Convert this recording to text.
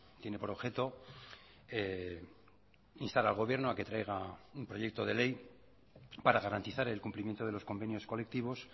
tiene por objeto instar al gobierno a que traiga un proyecto de ley para garantizar el cumplimiento de los convenios colectivos